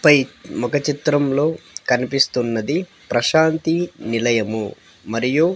పై ముఖ చిత్రంలో కన్పిస్తున్నది ప్రశాంతి నిలయము మరియు--